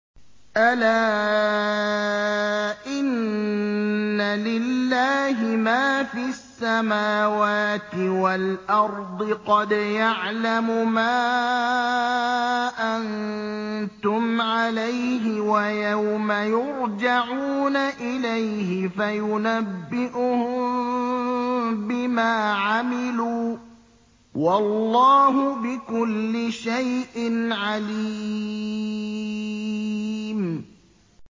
أَلَا إِنَّ لِلَّهِ مَا فِي السَّمَاوَاتِ وَالْأَرْضِ ۖ قَدْ يَعْلَمُ مَا أَنتُمْ عَلَيْهِ وَيَوْمَ يُرْجَعُونَ إِلَيْهِ فَيُنَبِّئُهُم بِمَا عَمِلُوا ۗ وَاللَّهُ بِكُلِّ شَيْءٍ عَلِيمٌ